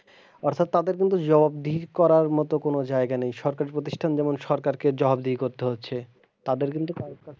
অর্থাৎ তাদের কিন্তু জবাবদিহি করার মতো কোনো জায়গা নেই সরকারি প্রতিষ্ঠান যেমন সরকারকে জবাবদিহি করতে হচ্ছে তাদের কিন্তু,